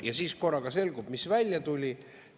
Ja siis korraga selgub – mis välja tuli?